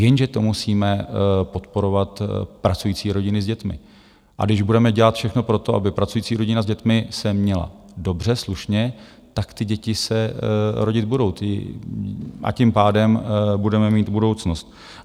Jenže to musíme podporovat pracující rodiny s dětmi, a když budeme dělat všechno pro to, aby pracující rodina s dětmi se měla dobře, slušně, tak ty děti se rodit budou a tím pádem budeme mít budoucnost.